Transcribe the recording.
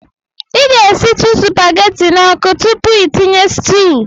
I ga-esitụ supageti n'ọkụ tupu tinye sutuu.